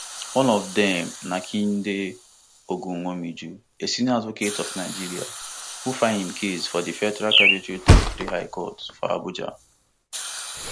one of dem na kehinde ogunwumiju a senior advocate of nigeria who file im case for di federal capital territory high court for abuja